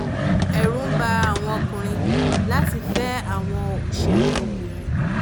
ẹ̀rù ń ba àwọn ọkùnrin láti fẹ́ àwọn òṣèrèbìnrin